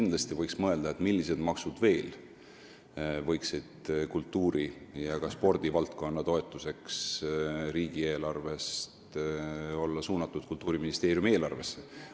Kindlasti võiks mõelda, millised maksud veel võiksid olla suunatud riigieelarvest Kultuuriministeeriumi eelarvesse kultuuri ja ka spordivaldkonna toetuseks.